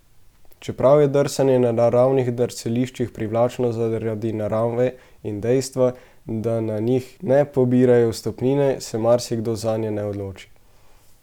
Čeprav je drsanje na naravnih drsališčih privlačno zaradi narave in dejstva, da na njih ne pobirajo vstopnine, se marsikdo zanje ne odloči.